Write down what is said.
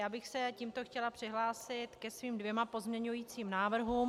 Já bych se tímto chtěla přihlásit ke svým dvěma pozměňujícím návrhům.